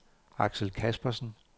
Axel Caspersen